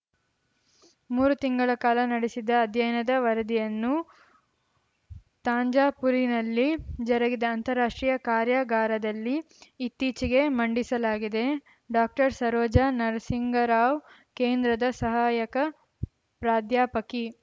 ಮೂರು ತಿಂಗಳ ಕಾಲ ನಡೆಸಿದ ಅಧ್ಯಯನದ ವರದಿಯನ್ನು ತಾಂಜಾಪೂರಿನಲ್ಲಿ ಜರುಗಿದ ಅಂತಾರಾಷ್ಟ್ರೀಯ ಕಾರ್ಯಾಗಾರದಲ್ಲಿ ಇತ್ತೀಚೆಗೆ ಮಂಡಿಸಲಾಗಿದೆ ಡಾಕ್ಟರ್ಸರೋಜಾ ನರಸಿಂಗರಾವ್‌ ಕೇಂದ್ರದ ಸಹಾಯಕ ಪ್ರಾಧ್ಯಾಪಕಿ